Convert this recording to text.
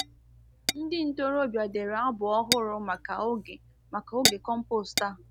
Ndi ntorobia dere abụ ọhụrụ maka oge maka oge compost a.